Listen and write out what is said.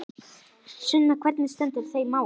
Sunna, hvernig stendur þetta mál?